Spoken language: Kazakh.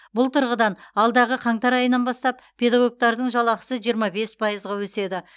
бұл тұрғыдан алдағы қаңтар айынан бастап педагогтардың жалақысы жиырма бес пайызға өседі